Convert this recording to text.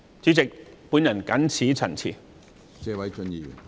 主席，我謹此陳辭。